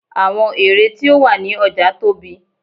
àwọn ère tí ó wà ní ọja tóbi